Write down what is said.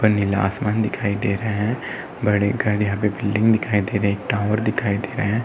उपर नीला आसमान दिखाई दे रहा है। बड़े घर यहाँ पे बिल्डिंग दिखाई दे रही है। टावर दिखाई दे रहा है।